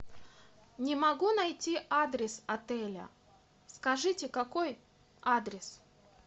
не могу найти адрес отеля скажите какой адрес